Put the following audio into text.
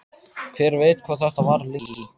Hver veit hvað þetta varir lengi?